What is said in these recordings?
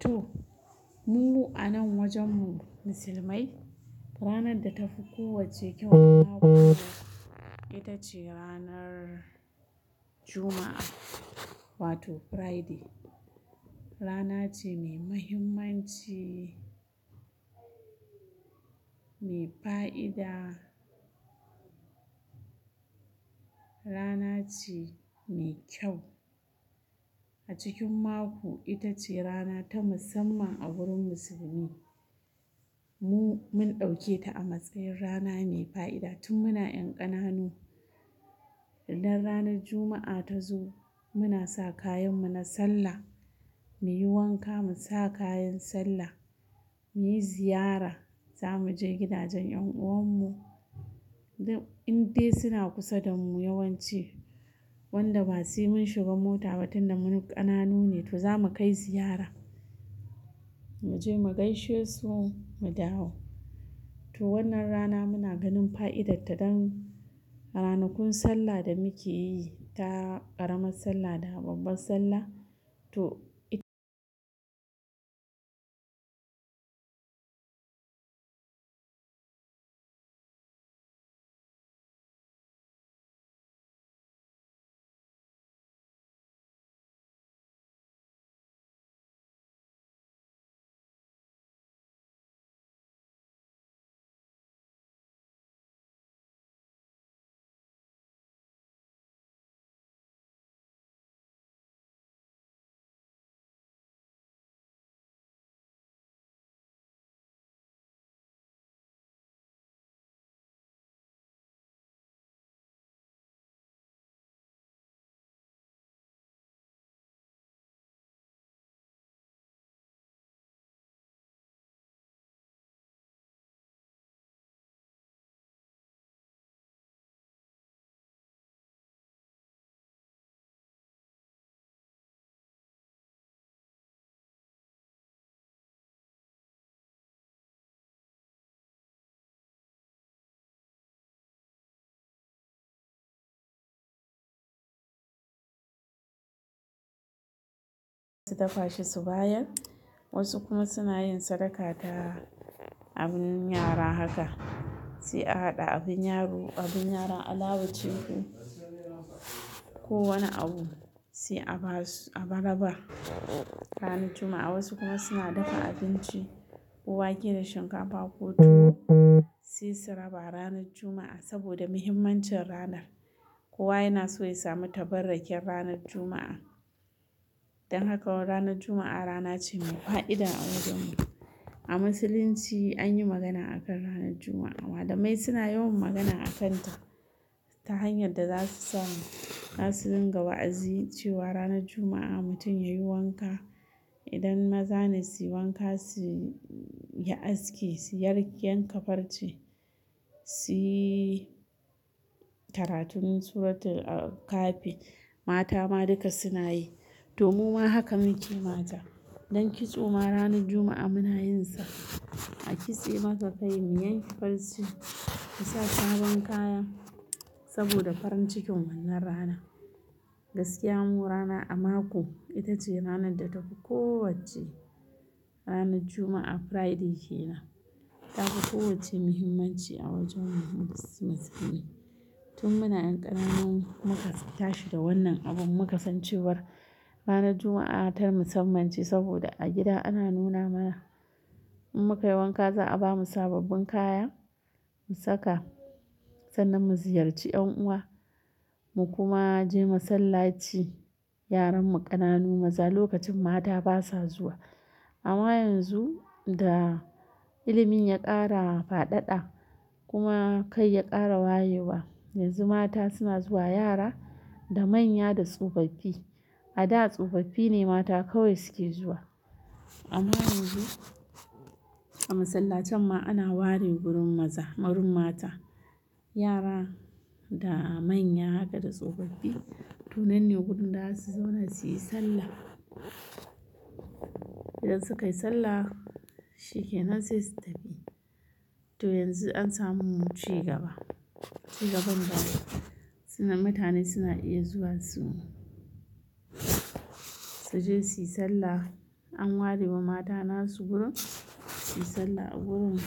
To, mu a nan wajenmu musulmai ranar da ta fi kowacce kyau a mako ita ce ranar Juma'a wato Friday, rana ce mai mahimmanci, mai fa'ida, rana ce mai kyau a cikin mako ita ce rana ta musamman a gurin musulmi, mu mun ɗauke ta a matsayin rana mai fa'ida tun muna ƴan ƙananu idan ranar Juma'a ta zo, muna sa kayanmu na sallah, muyi wanka mu sa kayan sallah muyi ziyara zamu je gidajen ƴan uwanmu, idan, indai suna kusa da mu yawanci wanda ba sai mun shiga mota ba tun da mu ƙananu ne to zamu kai ziyara mu je mu gaishe su mu dawo, to wannan rana muna ganin fa'idarta don ranakun sallah da muke yi ta ƙaramar sallah da babbar sallah to it- su dafa shi su bayar, wasu kuma suna yin sadaka ta abun yara haka, sai a haɗa abun yaro, abun yaran alawa ce, ko wane abu, sai a ba su, a ba-rabar ranar Juma'a wasu kuma suna dafa abinci, ko wake da shinkafa ko tuwo, sai su raba ranar Juma'a, saboda muhimmancin ranar, kowa yana so ya sami tabarrakin ranar Juma'a, don haka ranar Juma'a rana ce mai fa'ida a wajenmu a musulunci anyi magana akan ranar Juma'a, malamai suna yawan magana akanta ta hanyar da za su sa mu, za su dinga wa'azi cewa ranar Juma'a mutum yayi wanka idan maza ne suyi wanka su yi aski su yi-yanka farce, su yi karatun suratul Kahfi, mata ma duka suna yi, to muma haka muke mata, dan kitso ma ranar Juma'a muna yin sa a kitse maka kai, mu yanke farce, mu sa sabon kaya saboda farin cikin wannan ranan, gaskiya mu rana a mako ita ce ranar da ta fi kowacce ranar Juma'a, Friday ke nan, ta fi kowacce muhimmanci a wajen mu musulmi, tun muna ƴan ƙananun muka tashi da wannan abun muka san cewar ranar Juma'a ta musamman ce saboda a gida ana nuna mana in muka yi wanka za'a bamu sababbin kaya mu saka sannan mu ziyarci ƴan uwa mu kuma je masallaci, yaranmu ƙananu maza, lokacin mata basa zuwa amma yanzu da ilimin ya ƙara faɗaɗa, kuma kai ya ƙara wayewa yanzu mata suna zuwa yara da manya da tsofaffi, a da tsofaffi ne mata kawai suke zuwa, amma yanzu a masallatan ma ana ware gurin maza, wurin mata, yara da manya haka da tsofaffi, to nan ne gurin da za su zauna suyi sallah idan suka yi sallah shi ke nan sai su tafi to yanzu an samu cigaba, cigaban da suna, mutane suna iya zuwa su-su je suyi sallah an ware wa mata nasu gurin suyi sallah a gurin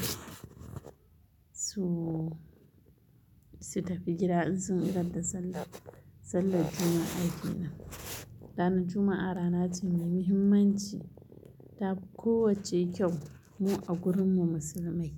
su-su tafi gida in sun idar da sallah, sallar Juma'a kenan, ranar Juma'a rana ce mai muhimmanci ta fi kowacce kyau mu a gurinmu musulmai.